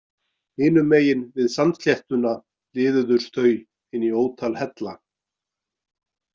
Hinum megin við sandsléttuna liðuðust þau inn í ótal hella.